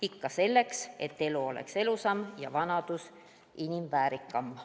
Ikka selleks, et elu oleks ilusam ja vanadus inimväärikam.